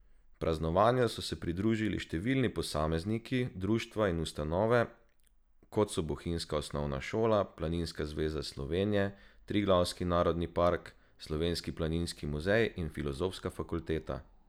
Praznovanju so se pridružili številni posamezniki, društva in ustanove, kot so bohinjska osnovna šola, Planinska zveza Slovenije, Triglavski narodni park, Slovenski planinski muzej in Filozofska fakulteta.